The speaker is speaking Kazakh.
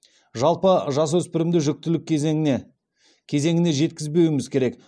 жалпы жасөспірімді жүктілік кезеңіне кезеңіне жеткізбеуіміз керек